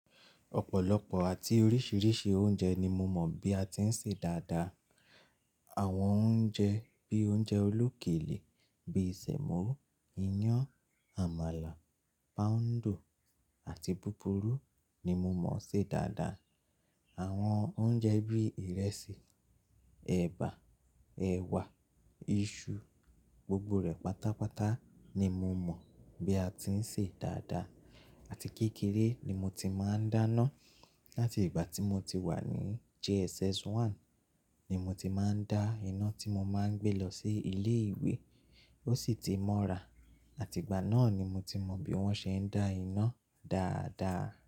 Ọ̀pọ̀lọpọ̀ àti oríṣiríṣi oúnjẹ ni mo mọ̀ bí a ti ń ṣe dáadáa. Àwọn oúnjẹ bí i oúnjẹ olókèlè bíi sẹ̀mọ́, iyán, àmàlà, póúndò àti búburú ni mo mọ̀ ṣe dáadáa. Àwọn oúnjẹ bíi ìrẹsì, ẹ̀bà, ẹ̀wà, iṣu, gbogbo rẹ̀ pátápátá ni mo mọ̀ bí a ti ń ṣe dáadáa àti kékeré ni mo ti máa ń dáná. Láti ìgbà tí mo ti wà ní JSS1 ni mo ti máa ń dá iná tí mo máa ń gbé lọ sí ilé ìwé, ó sì ti mọ́ra. Àti ìgbà náà ni mo ti mọ bí wọ́n ṣe ń dá iná dáadáa.